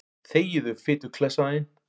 Þegiðu, fituklessan þín.